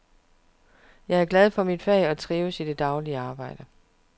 Jeg er glad for mit fag og trives i det daglige arbejde.